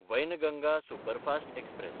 Wainganga superfast express